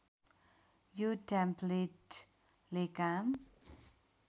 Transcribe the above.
यो टेम्प्लेटले काम